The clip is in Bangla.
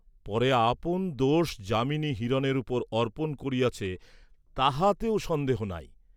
পরে আপন দোষ যামিনী হিরণের উপর অর্পণ করিয়াছে তাহাতেও সন্দেহ নাই।